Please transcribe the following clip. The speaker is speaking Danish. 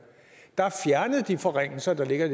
der fjernede de forringelser der ligger i